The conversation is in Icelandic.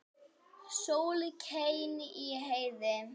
Sól skein í heiði.